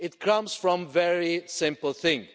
It comes from a very simple thing.